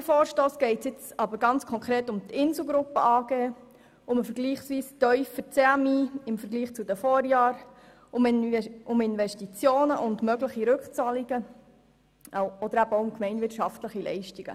Beim vorliegenden Vorstoss geht es ganz konkret um die Insel Gruppe AG, den im Vergleich zu den Vorjahren tiefen CMI, Investitionen und mögliche Rückzahlungen und eben auch um gemeinwirtschaftliche Leistungen.